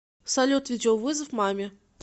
салют видеовызов маме